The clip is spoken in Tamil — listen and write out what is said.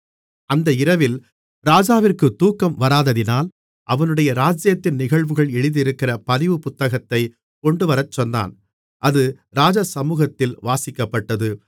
அந்த இரவில் ராஜாவிற்கு தூக்கம் வராததினால் அவனுடைய ராஜ்ஜியத்தின் நிகழ்வுகள் எழுதியிருக்கிற பதிவு புத்தகத்தைக் கொண்டுவரச்சொன்னான் அது ராஜசமுகத்தில் வாசிக்கப்பட்டது